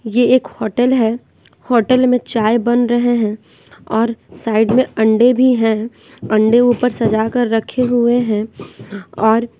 ये एक होटल है होटल में चाय बन रहे हैं और साइड में अंडे भी हैं अंडे ऊपर सजा कर रखे हुए हैं और--